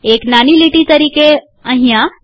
એક નાની લીટી તરીકે અહીંયા